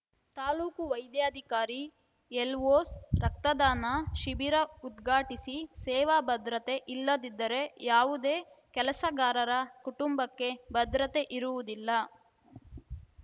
ತಾಲೂಕು ವೈದ್ಯಾಧಿಕಾರಿ ಎಲ್ವೊಸ್ ರಕ್ತದಾನ ಶಿಬಿರ ಉದ್ಘಾಟಿಸಿ ಸೇವಾ ಭದ್ರತೆ ಇಲ್ಲದಿದ್ದರೆ ಯಾವುದೇ ಕೆಲಸಗಾರರ ಕುಟುಂಬಕ್ಕೆ ಭದ್ರತೆ ಇರುವುದಿಲ್ಲ